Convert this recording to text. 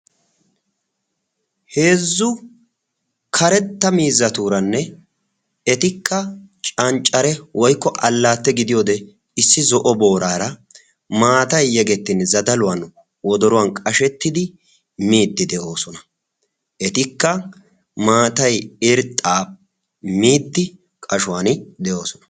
Heezzu karetta miizzatuuranne etikka cancare woykko allaatte gidiyodee issi zo"o booraara maatay yegettin zadaluwan wodoruwan qashettidi miiddi de'oosona. Etikka maatay irxxaa miiddi qashuwani de'oosona.